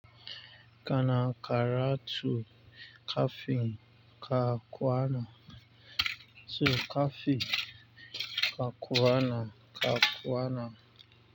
Kana karatu kafin ka kwana. Kafinka kwana, ka kwana.